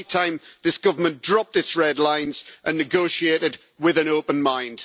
It is high time this government dropped its red lines and negotiated with an open mind.